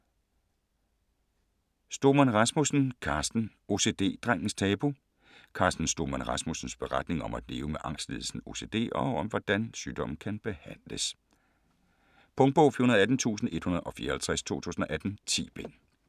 Stoemann Rasmussen, Carsten: OCD-drengens tabu Carsten Stoemann Rasmussens beretning om at leve med angstlidelsen OCD og om hvordan sygdommen kan behandles. Punktbog 418154 2018. 10 bind.